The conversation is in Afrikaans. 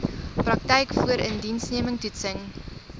praktyk voorindiensneming toetsing